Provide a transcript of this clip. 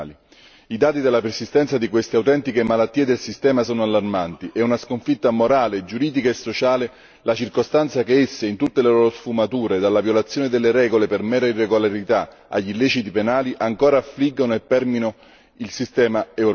I dati della persistenza di queste autentiche malattie del sistema sono allarmanti. È una sconfitta morale, giuridica e sociale la circostanza che essi, in tutte le loro sfumature, dalla violazione delle regole per mera irregolarità agli illeciti penali, ancora affliggono e permeano il sistema Europa.